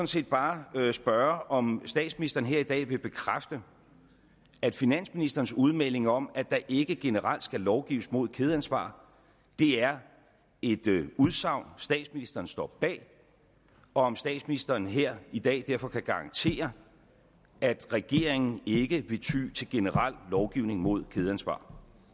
set bare spørge om statsministeren her i dag vil bekræfte at finansministerens udmelding om at der ikke generelt skal lovgives mod kædeansvar er et udsagn statsministeren står bag og om statsministeren her i dag derfor kan garantere at regeringen ikke vil ty til generel lovgivning mod kædeansvar